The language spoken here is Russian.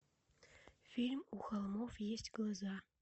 фильм у холмов есть глаза